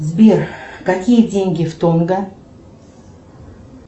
сбер какие деньги в тонга